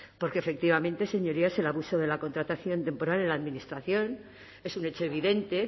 porque efectivamente señorías el abuso de la contratación temporal en la administración es un hecho evidente